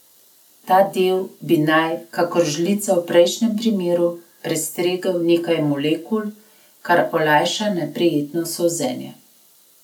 Ta del bi naj, kakor žlica v prejšnjem primeru, prestregel nekaj molekul, kar olajša neprijetno solzenje.